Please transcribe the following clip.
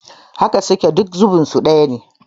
Haka suke, duk zubin su ɗaya yake